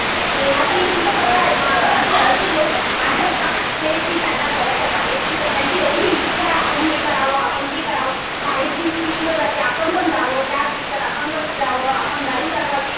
आता तुमचं तसं आहे. माझ्या काकूंचं असं आहे कि त्यांना घराच्या बाहेर सुद्धा त्यांची एवढी इच्छा कि आपण हे करावं ते करावं. बाहेरची स्त्री कुठे जाते. आपण पण जावं त्या फिरतातआपण पण फिरावं.आपण गाडी चालवावी.